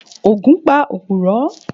Ògún pa òpùrọ́.